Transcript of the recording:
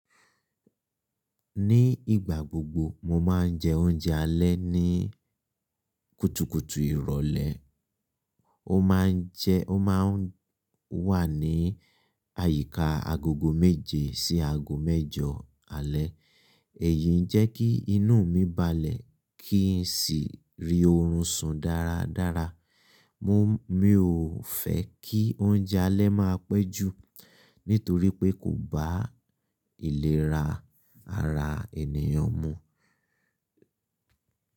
Ní ìgbà gbogbo, mo máa ń jẹ oúnjẹ alẹ́ ní kùtùkùtù ìrólẹ́. Ó má ń jẹ, ó má ń wà níi àyíkáa agogo méje sí aago mẹ́jọ alẹ́. Èyí ń jẹ́ kí inú mi balẹ̀ kí n sì rí oorun sùn dáradára. Mi ò fẹ́ kí oúnjẹ alẹ́ máa pẹ́ jù nítorí pé kò bá ìlera ara ènìyàn mu.